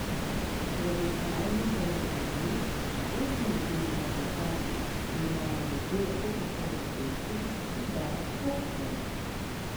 Z raziskavami so ugotovili, da osem ljudi izmed desetih, ki imajo na izbiro kokakolo in pepsi, izbere kokakolo.